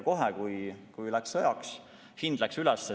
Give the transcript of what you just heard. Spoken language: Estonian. Kohe, kui läks sõjaks, hind läks üles.